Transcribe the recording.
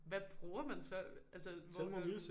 Hvad bruger man så? Altså hvor man